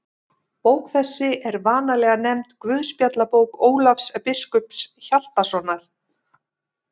Bók þessi er vanalega nefnd Guðspjallabók Ólafs biskups Hjaltasonar.